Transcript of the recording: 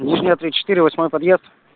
нижняя три четыре восьмой подъезд